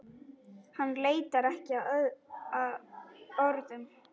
Hann leitar ekki að orðum.